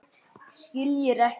Skiljir ekki.